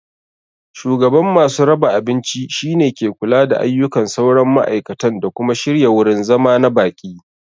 Shugaban masu raba abinci shine ke kula da ayyukan sauran ma'aikatan da kuma shirya wurin zama na baƙi.